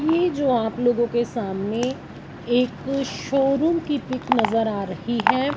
ये जो आप लोगों के सामने एक शोरूम की पिक नजर आ रही है।